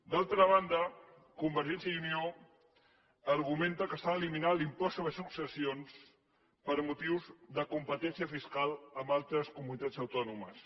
d’altra banda convergència i unió argumenta que s’ha d’eliminar l’impost sobre successions per motius de competència fiscal amb altres comunitats autònomes